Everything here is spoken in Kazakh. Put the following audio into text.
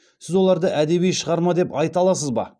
сіз оларды әдеби шығарма деп айта аласыз ба